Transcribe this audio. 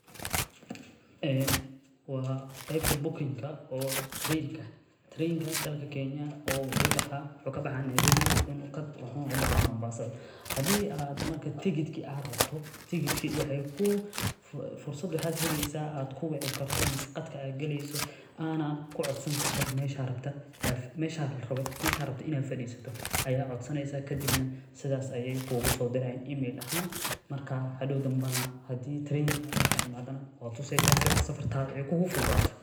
Wa qeybta bokinka ee tarankeda wadanka kenya oo kabaxa nairobi wuxuna ubaxa mombasa marka hadi ad rabto tigedki fursad waxa heeysa ad kuwaceyso ama ad qadka galeyso oo ana kucodsani karto meesha rabto in ad farisato marka hadow ayey kugusodirayan email ahan marka hadow marka imato ayad tuseysa si ey safartada kugufududato.